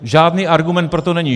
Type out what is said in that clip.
Žádný argument pro to není.